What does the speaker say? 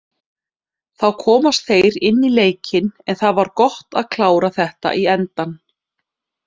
Þá komust þeir inn í leikinn, en það var gott að klára þetta í endann.